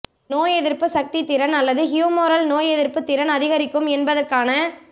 நோய் எதிர்ப்பு சக்தி திறன் அல்லது ஹுமோரல் நோயெதிர்ப்பு திறன் அதிகரிக்கும் என்பதற்கான